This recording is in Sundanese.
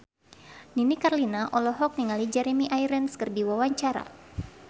Nini Carlina olohok ningali Jeremy Irons keur diwawancara